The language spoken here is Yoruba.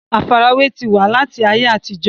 àfarawé ti wà láti ayé àtijọ́